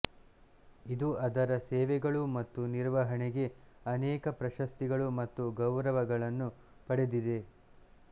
ಇದು ಅದರ ಸೇವೆಗಳು ಮತ್ತು ನಿರ್ವಹಣೆಗೆ ಅನೇಕ ಪ್ರಶಸ್ತಿಗಳು ಮತ್ತು ಗೌರವಗಳನ್ನು ಪಡೆದಿದೆ